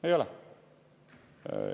Ei ole.